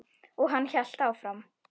Og hann hélt áfram.